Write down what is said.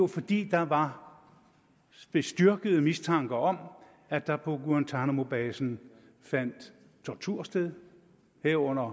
fordi der var bestyrket mistanke om at der på guantánamobasen fandt tortur sted herunder